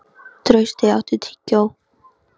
Trausti, áttu tyggjó?